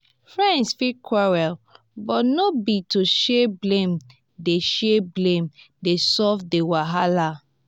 friends fit quarrel but no be to share blame dey share blame dey solve di wahala